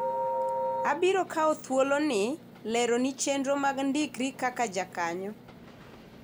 abiro kawo thuolo ni lero ni chenro mag ndikri kaka jakanyo